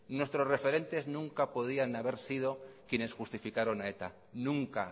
nuestros referentes nunca podían haber sido quienes justificaron a eta nunca